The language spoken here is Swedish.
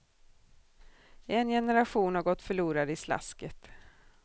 En generation har gått förlorad i slasket.